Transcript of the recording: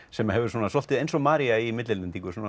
sem hefur svolítið eins og María í millilendingu